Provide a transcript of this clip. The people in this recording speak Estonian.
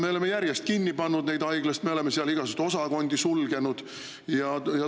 Me oleme haiglaid järjest kinni pannud, me oleme igasuguseid osakondi sulgenud.